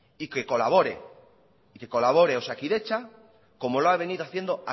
y que colabore osakidetza como lo ha venido haciendo